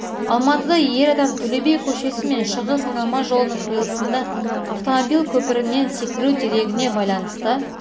алматыда ер адам төле би көшесі мен шығыс айналма жолының қиылысында автомобиль көпірінен секіру дерегіне байланысты